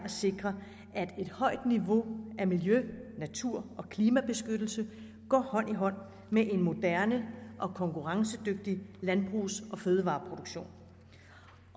sikre at et højt niveau af miljø natur og klimabeskyttelse går hånd i hånd med en moderne og konkurrencedygtig landbrugs og fødevareproduktion